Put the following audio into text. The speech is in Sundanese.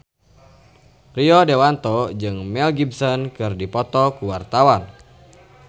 Rio Dewanto jeung Mel Gibson keur dipoto ku wartawan